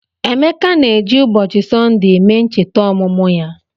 Emeka na-eji ụbọchị Sọnde eme ncheta ọmụmụ ya.